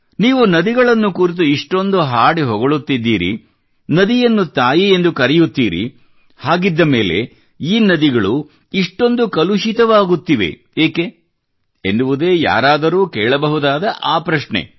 ನೀವು ನದಿಗಳನ್ನು ಕುರಿತು ಇಷ್ಟೊಂದು ಹಾಡಿ ಹೊಗಳುತ್ತಿದ್ದೀರಿ ನದಿಯನ್ನು ತಾಯಿ ಎಂದು ಕರೆಯುತ್ತೀರಿ ಹಾಗಿದ್ದ ಮೇಲೆ ಈ ನದಿಗಳು ಇಷ್ಟೊಂದು ಕಲುಷಿತವಾಗುತ್ತಿವೆ ಏಕೆ ಎನ್ನುವುದೇ ಯಾರಾದರೂ ಕೇಳಬಹುದಾದ ಆ ಪ್ರಶ್ನೆ